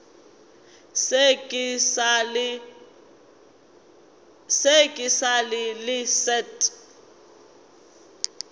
se ke ra le leset